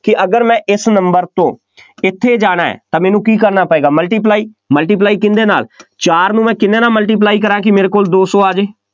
ਕਿ ਅਗਰ ਮੈਂ ਇਸ number ਤੋਂ ਇੱਥੇ ਜਾਣਾ, ਤਾਂ ਮੈਨੂੰ ਕੀ ਕਰਨਾ ਪਏਗਾ multiply multiply ਕਿਹਦੇ ਨਾਲ, ਚਾਰ ਨੂੰ ਮੈਂ ਕਿੰਨਿਆ ਨਾਲ multiply ਕਰਾਂ, ਕਿ ਮੇਰੇ ਕੋਲ ਦੋ ਸੌ ਆ ਜਾਵੇ।